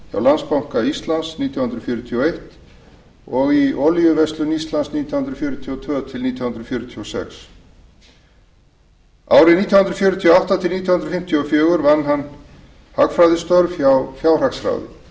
landsbanka íslands nítján hundruð fjörutíu og eins og í olíuverslun íslands nítján hundruð fjörutíu og tvö til nítján hundruð fjörutíu og sex árin nítján hundruð fjörutíu og átta til nítján hundruð fimmtíu og fjögur vann hann hagfræðistörf hjá fjárhagsráði hann stundaði hagfræðileg